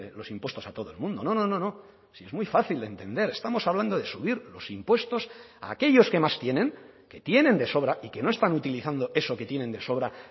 los impuestos a todo el mundo no no no no si es muy fácil de entender estamos hablando de subir los impuestos a aquellos que más tienen que tienen de sobra y que no están utilizando eso que tienen de sobra